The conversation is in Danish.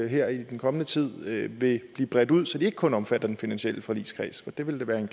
her i den kommende tid vil blive bredt ud så de ikke kun omfatter den finansielle forligskreds for det ville da være